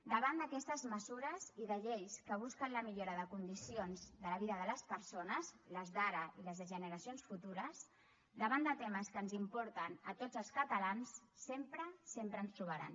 davant d’aquestes mesures i de lleis que busquen la millora de condicions de la vida de les persones les d’ara i les de generacions futures davant de temes que ens importen a tots els catalans sempre sempre ens trobaran